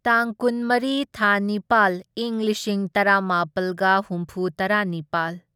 ꯇꯥꯡ ꯀꯨꯟꯃꯔꯤ ꯊꯥ ꯅꯤꯄꯥꯜ ꯢꯪ ꯂꯤꯁꯤꯡ ꯇꯔꯥꯃꯥꯄꯜꯒ ꯍꯨꯝꯐꯨꯇꯔꯥꯅꯤꯄꯥꯜ